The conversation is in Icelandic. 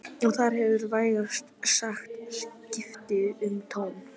Og þar hefur vægast sagt skipt um tón